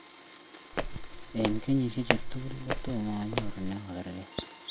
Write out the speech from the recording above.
Eng kenyishiek tugul Tomo anyoru me ogergei